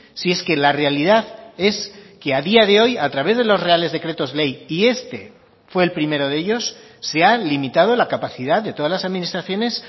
si es que la realidad es que a día de hoy a través de los reales decretos ley y este fue el primero de ellos se ha limitado la capacidad de todas las administraciones